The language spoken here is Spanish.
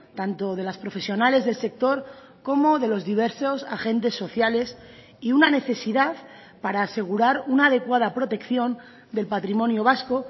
tanto de las profesionales del sector como de los diversos agentes sociales y una necesidad para asegurar una adecuada protección del patrimonio vasco